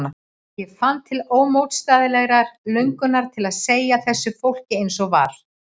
Ég fann til ómótstæðilegrar löngunar til að segja þessu fólki eins og var.